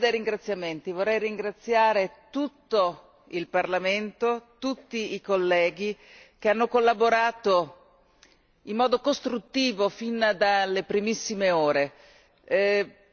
Vorrei cominciare proprio dai ringraziamenti vorrei ringraziare tutto il Parlamento, tutti i colleghi che hanno collaborato in modo costruttivo fin dalle primissime ore.